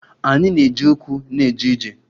Anyị na-eji ụkwụ na-eje ije.